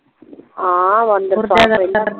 ਹਾ